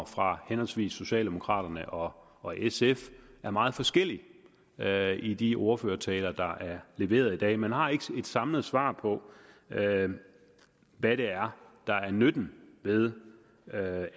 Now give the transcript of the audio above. fra henholdsvis socialdemokraterne og og sf er meget forskellig i de ordførertaler der er leveret i dag man har ikke et samlet svar på hvad det er der er nytten ved